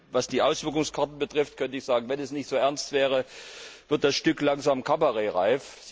Was die Auswirkungskarten betrifft, könnte ich sagen Wenn es nicht so ernst wäre, würde das Stück langsam kabarettreif.